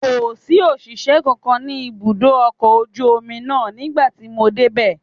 Kò sí òṣìṣẹ́ kankan ní ibùdó ọkọ̀ ojú omi náà nígbà tí mo dé bẹ